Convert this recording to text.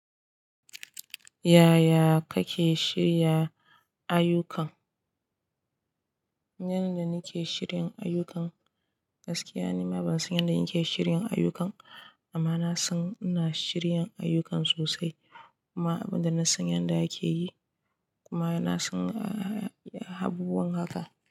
Yaya kake shirya ayyukan? Yanda nake shirin ayyukan, gaskiya nima ban san yanda nake shirin ayyukan amma na san ina shirin ayyukan sosai kuma abin da na san yanda yake yi kuma na san abubuwan haka.